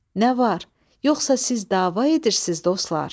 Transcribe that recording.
Nə var, yoxsa siz dava edirsiz, dostlar?